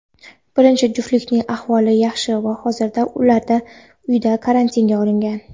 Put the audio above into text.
birinchi juftlikning ahvoli yaxshi va hozirda ular uyda karantinga olingan.